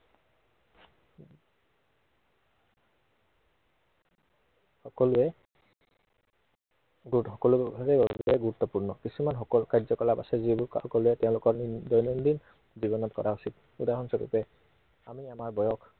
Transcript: সকলোৱে উম সকলোৰে বাবে অতিকৈ গুৰুত্বপূৰ্ণ। কিছুমান কাৰ্যকলাপ আছে যিবোৰ সকলোৱে দৈনন্দিন জীৱনত কৰা উচিত। উদাহৰণ স্বৰূপে, আমি আমাৰ বয়স